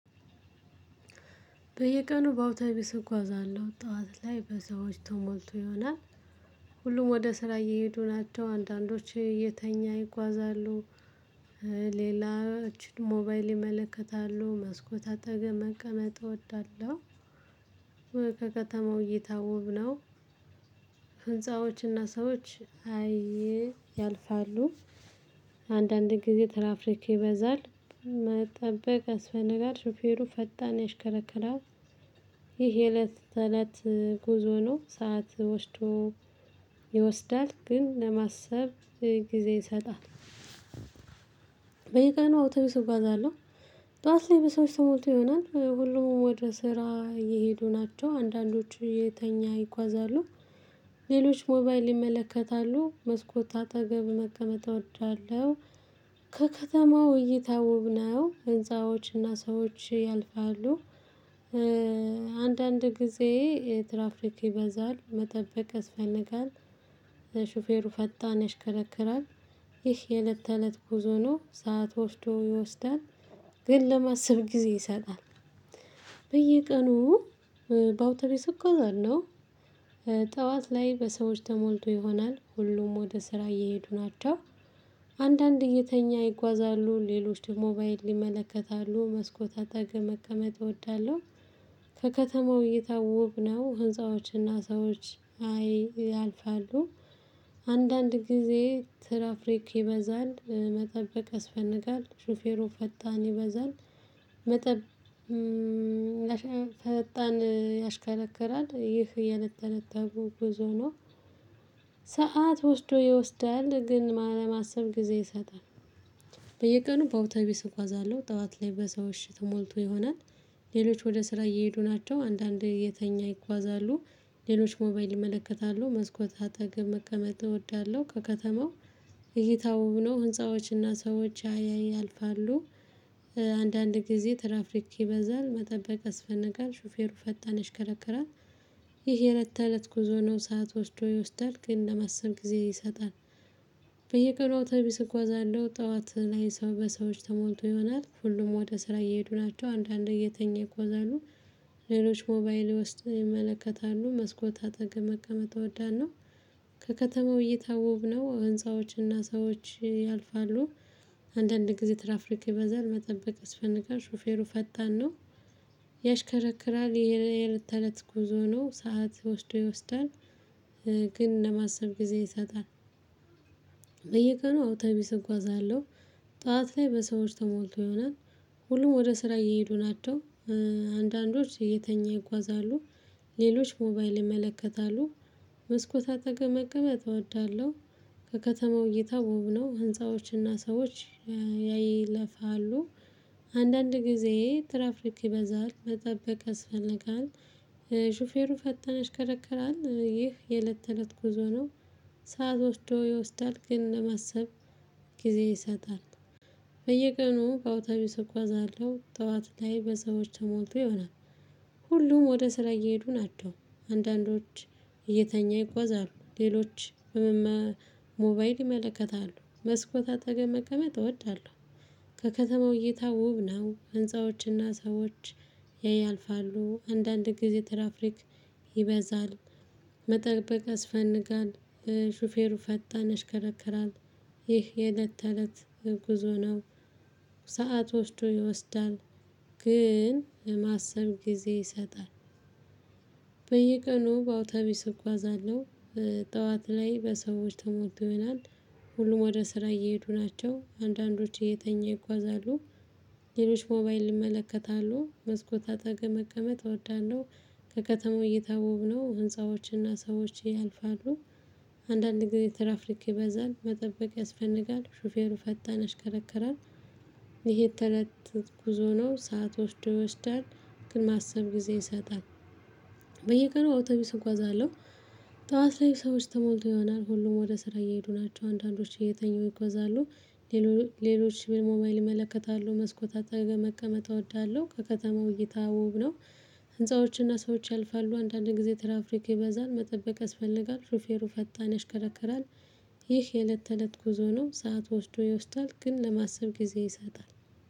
በየቀኑ በአውቶቢስ እጓዛለሁ ጠዋት ላይ በሰዎች ተሞልቶ ይሆናል ሁሉም ወደ ስራ እየሄዱ ናቸው አንዳንዶች እየተኛ ይጓዛሉ። ሌላችን ሞባይል ይመለከታሉ መስኮት አጠገብ መቀመጥ እወዳለሁ። ከከተማው እይታ ውብ ነው። ህንፃዎችና ሰዎች አየ ያልፋሉ። አንዳንድ ጊዜ ትራፍክ ይበዛል መጠበቅ ያስፈልጋል ሾፌሩ ፈጣን ያሽከረክራል። ይሄ እለት ተእለት። ጉዞ ነው ሰዓት ወስዶ ይወስዳል ግን ለማሰብ ጊዜ ይሰጣል። በየቀኑ አውተቢስ እጓዛለሁ ጠዋት ላይ በሰዎች ተሞልቶ ይሆናል ሁሉም ወደ ስራ እየሄዱ ናቸው አንዳንዶቹ የተኛ ይጓዛሉ። ሌሎች ሞባይል ይመለከታሉ መስኮት አጠገብ መቀመጥ እወዳለሁ። ከከተማው እይታ ውብ ነው ህንዎችና ሰዎች ያልፋሉ። አንዳንድ ጊዜ ትራፍሪክ ይበዛል መጠበቅ ያስፈልጋል። ለሹፌሩ ፈጣን ያሽከረክራል። ይህ የእለት ተእለት ጉዞ ነው ሰዓት ወስዶ ይወስዳል። ግን ለማሰብ ጊዜ ይሰጣል። በየቀኑ በአውተቢስ እጉዋዛለሁ። ጠዋት ላይ በሰዎች ተሞልቶ ይሆናል ሁሉም ወደ ስራ እየሄዱ ናቸው። አንዳንድ እየተኛ ይጓዛሉ ሌሎች ደግሞ ሞባይል ይመለከታሉ መስኮት አጠገብ መቀመጥ እወዳለሁ። ከከተማው እይታ ውብ ነው ህንፃዎችና ሰዎች አይ ያልፋሉ። አንዳንድ ጊዜ ትራፍሪክ ይበዛል መጠበቅ ያስፈልጋል ሹፌሩ ፈጣን ይበዛል። መጠብ ፈጣን ያሽከረክራል ይህ የእለት ተለት ጉዞ ነው። ሰዓት ወስዶ ይወስዳል ግን ለማሰብ ጊዜ ይሰጣል። በየቀኑ በአውታቢስ እጉዋዛለሁ ጠዋት ላይ በሰው እሽ ተሞልቶ ይሆናል። ሌሎች ወደ ስራ እየሄዱ ናቸው አንዳንዴ የተኛ ይጓዛሉ። ሌሎች ሞባይል ይመለከታሉ መስኮት አጠገብ መቀመጥ እወዳለሁ። ከከተማው እይታው ውብ ነው ህንፃዎችና ሰዎች ያያይ ያልፋሉ። አንዳንድ ጊዜ ትራፍሪክ ይበዛል መጠበቅ አስፈነጋል ሹፌሩ ፈጣን ይሽከረከራል። ይሄ የለት ተለት ጉዞ ነው ሰዓት ወስዶ ይወስዳል ግን ለማሰብ ጊዜ ይሰጣል። በየቀኑ አውቶቢስ እጉዋዛለሁ ጠዋት ላይ ሰው በሰዎች ተሞልቶ ይሆናል ሁሉም ወደ ስራ እየሄዱ ናቸው አንዳንድ እየተኛ ይጉዋዛሉ። ሌሎች ሞባይል ውስጥ ይመለከታሉ መስኮት አጠገብ መቀመጥ እወዳለሁ። ከከተማው እይታ ውብ ነው ህንፃዎችና ሰዎች ያልፋሉ። አንዳንድ ጊዜ ትራፍሪካ ይበዛል መጠበቅ ስያስፈልጋል ሹፌሩ ፈጣን ነው። ያሽከረክራል ይሄ የለት ተለት ጉዞ ነው ሰዓት ወስዶ ይወስዳል። ግን ለማሰብ ጊዜ ይሰጣል። በየቀኑ አውተቢስ እጉዋዛለሁ። ጠዋት ላይ በሰዎች ተሞልቶ ይሆናል። ሁሉም ወደ ስራ እየሄዱ ናቸው። አንዳንዶች የተኛ ይጓዛሉ። ሌሎች ሞባይል ይመለከታሉ። መስኮት አጠገብ መቅመጥ እወዳለሁ። ከከተማው እይታ ውብ ነው ህንፃዎችና ሰዎች ያይለፋሉ። አንዳንድ ጊዜ ትራፍሪክ ይበዛል መጠበቅ አስፈልጋል። ሹፌሩ ፈጣን ያሽከረክራል ይህ የለት ተለት ጉዞ ነው። ሰዓት ወስዶ ይወስዳል ግን ለማሰብ ጊዜ ይሰጣል። በየቀኑ በአውቶቢስ እጉዋዛለሁ ጠዋት ላይ በሰዎች ተሞልቶ ይሆናል። ሁሉም ወደ ስራ እየሄዱ ናቸው። አንዳንዶች እየተኛ ይጓዛሉ ሌሎች ሞባይል ይመለከታሉ መስኮት አጠገብ መቀመጥ እወዳለሁ። ከከተማው እይታ ውብ ነው ህንፃዎችና ሰዎች ያያልፋሉ። አንዳንድ ጊዜ ትራፍሪክ ይበዛል። መጠበቅ አስፈንጋል ሹፌሩ ፈጣን አሽከረከራል። ይህ የእለት ተእለት ጉዞ ነው። ሰዓት ወስዶ ይወስዳል ግን ማሰብ ጊዜ ይሰጣል። በየቀኑ በአውታቢስ እጓዛለሁ ጠዋት ላይ በሰዎች ተሞልተውናል። ሁሉም ወደ ስራ እየሄዱ ናቸው አንዳንዶች እየተኛ ይጓዛሉ። ሌሎች ሞባይል ይመለከታሉ መስኮት አጠገብ መቀመጥ እወዳለሁ። ከከተማው እይታ ውብ ነው ህንፃዎችና ሰዎች ያልፋሉ። አንዳንድ ጊዜ ትራፍልክ ይበዛል መጠበቅ ያስፈንጋል ሹፌሩ ፈጣን አሽከረክራል። ይሄ ተለት ተት ጉዞ ነው ሰዓት ወስዶ ይወስዳል። ግን ማሰብ ጊዜ ይሰጣል። በየቀኑ አውቶቢስ እጓዛለሁ። ጠዋት ላይ ሰዎች ተሞልቶ ይሆናል ሁሉም ወደ ስራ እየሄዱ ናቸው አንዳንዶች እየተኙ ይጎዛሉ። ሌሎች ሺህ ሞባይል ይመለከታሉ መስኮት አጠገብ መቀመጥ እወዳለሁ። ከከተማው እይታ ውብ ነው። ህንፃዎችና ሰዎች ያልፋሉ አንዳንድ ጊዜ ተራፍሪክ ይበዛል መጠበቅ ያስፈልጋል ሹፌሩ ፈጣን ያሽከረከክራል። ይህ የእለት ተእለት ጉዞ ነው ሰዓት ወስዶ ይወስዳል ግን ለማሰብ ጊዜ ይሰጣል።